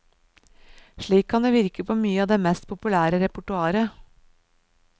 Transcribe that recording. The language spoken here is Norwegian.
Slik kan det virke på mye av det mest populære repertoaret.